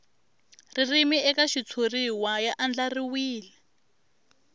ririmi eka xitshuriwa ya andlariwile